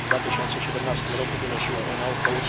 W 2017 roku wynosiła ona ok.